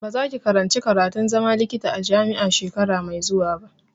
Ba za ki karanci karatun zama likita a jami'a shekara mai zuwa ba!